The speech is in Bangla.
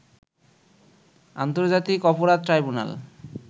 আন্তর্জাতিক অপরাধ ট্রাইবুনাল